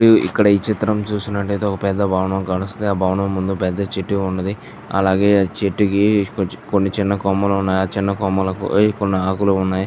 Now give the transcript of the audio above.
ఇక్కడ ఈ చిత్రం చూస్తుంటే ఒక పెద్ద భవనం కనిపిస్తుంది ఆ భవనం చుట్టూ పేద చెట్టు ఉన్నదీ అలాగే చెట్టుకి కొన్ని చిన్న కొమ్మలున్నాయి ఆ కొమ్మ కి చిన్న ఆకులున్నాయి.